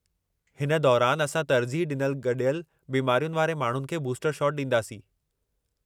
हिन दौरानि असां तरजीह ॾिनल गॾियल बिमारियुनि वारे माण्हुनि खे बूस्टर शॉट ॾींदासीं।